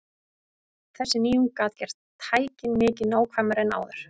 Þessi nýjung gat gert tækin mikið nákvæmari en áður.